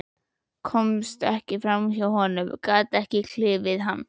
Komst ekki fram hjá honum, gat ekki klifið hann.